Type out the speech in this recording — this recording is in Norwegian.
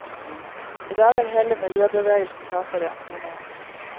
I dag er hele miljøbevegelsen tapere, mener han.